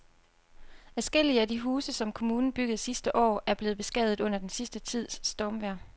Adskillige af de huse, som kommunen byggede sidste år, er blevet beskadiget under den sidste tids stormvejr.